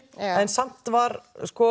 en samt var